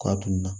Kɔ a dun na